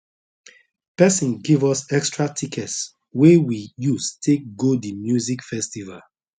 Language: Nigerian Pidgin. person give us extra tickets wey we use take go the music festival